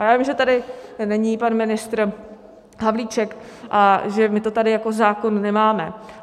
A já vím, že tady není pan ministr Havlíček a že my to tady jako zákon nemáme.